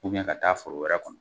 ka taa foro wɛrɛ kɔnɔ